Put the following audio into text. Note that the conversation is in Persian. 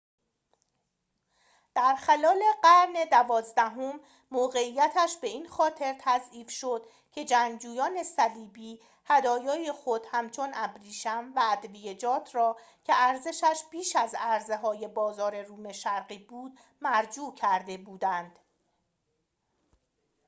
در خلال قرن دوازدهم موقعیتش به این خاطر تضعیف شد که جنگجویان صلیبی هدایای خود همچون ابریشم و ادویه‌جات را که ارزشش بیش از عرضه‌های بازار روم شرقی بود مرجوع کرده بودند